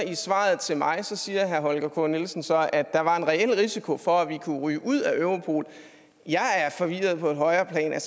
i svaret til mig siger herre holger k nielsen så at der var en reel risiko for at vi kunne ryge ud af europol jeg er forvirret på et højere plan